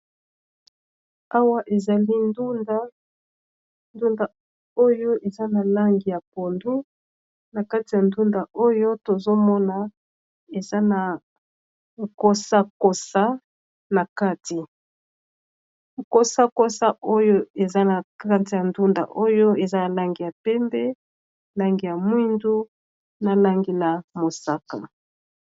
Awa ezali ndunda ndunda oyo eza na lange ya pondu na kati ya ndunda oyo tozomona eza na kosakosa na kati kosakosa oyo eza na kate ya ndunda oyo eza na lange ya pembe langi ya mwindu na langi ya mosaka